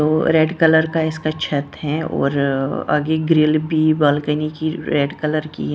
वो red colour का इसका छत है और आगे ग्रिल भी बालकनी की रेड कलर की है ।